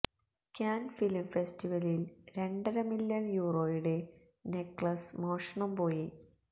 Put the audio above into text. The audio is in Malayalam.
കാന് ഫിലിം ഫെസ്റ്റിവലില് രണ്ടര മില്യണ് യൂറോയുടെ നെക്ലസ് മോഷണം പോയി